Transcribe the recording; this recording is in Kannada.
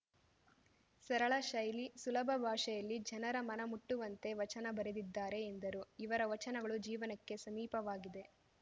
ಸರಳ ಶೈಲಿ ಸುಲಭ ಭಾಷೆಯಲ್ಲಿ ಜನರ ಮನಮುಟ್ಟುವಂತೆ ವಚನ ಬರೆದಿದ್ದಾರೆ ಎಂದರು ಇವರ ವಚನಗಳು ಜೀವನಕ್ಕೆ ಸಮೀಪವಾಗಿದೆ